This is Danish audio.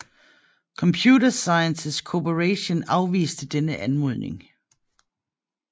Computer Sciences Corporation afviste denne anmodning